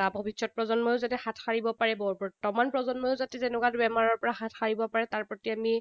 বা ভৱিষ্যত প্ৰজন্মও যাতে হাত সাৰিব পাৰে, বৰ্তমান প্ৰজন্মইও যাতে তেনেকুৱা বেমাৰৰ পৰা হাত সাৰিব পাৰে, তাৰ প্ৰতি আমি